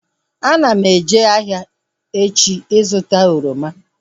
Ana m eje ahịa echi ịzụta oroma